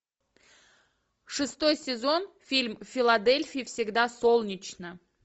шестой сезон фильм в филадельфии всегда солнечно